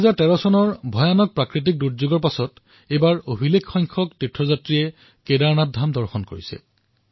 ২০১৩ চনত হোৱা ভীষণ বিপত্তিৰ পিছত প্ৰথমবাৰলৈ এইবাৰ অভিলেখ সংখ্যাত তীৰ্থযাত্ৰী তাত উপস্থিত হৈছে